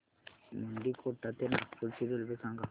मुंडीकोटा ते नागपूर ची रेल्वे सांगा